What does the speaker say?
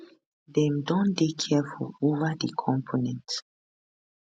dem don dey careful ova di components